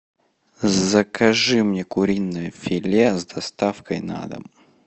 закажи мне куриное филе с доставкой на дом